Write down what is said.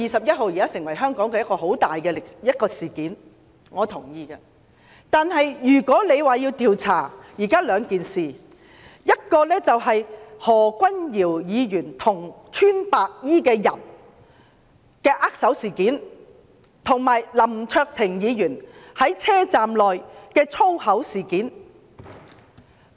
如果反對派要求調查，現在便有兩項事情須予調查，其一是何君堯議員與白衣人握手，另一是林卓廷議員在車站內說粗話。